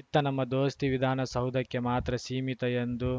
ಇತ್ತ ನಮ್ಮ ದೋಸ್ತಿ ವಿಧಾನಸೌಧಕ್ಕೆ ಮಾತ್ರ ಸೀಮಿತ ಎಂದು